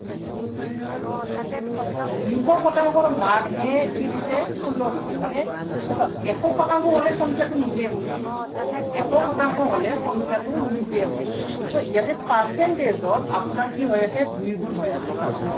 দুইশ শতাংশৰ মানে কি দিছে, ষোল্ল দিছে। মানে এইটো চাওক, এশ শতাংশৰ হলে সংখ্য়াটো নিজেই হয়। এশ শতাংশ হ'লে সংখ্য়াটো নিজেই হয়। so ইয়াতে percentage ত আপোনাৰ কি হৈ আছে, দুই গুণ হৈ আছে চাওক।